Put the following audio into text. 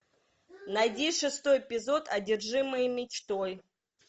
найди шестой эпизод одержимые мечтой